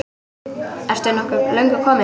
Ertu nokkuð löngu kominn?